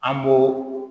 An b'o